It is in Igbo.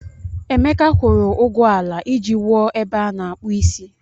Emeka kwụrụ ụgwọ ala iji wuo ebe a na-akpụ isi.